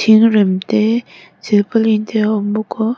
thingrem te silpauline te a awm bawk a